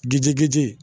Gjdig